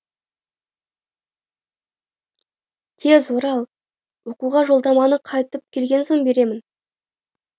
тез орал оқуға жолдаманы қайтып келген соң беремін